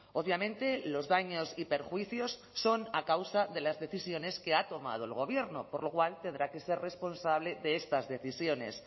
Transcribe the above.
obviamente los daños y perjuicios son a causa de las decisiones que ha tomado el gobierno por lo cual tendrá que ser responsable de estas decisiones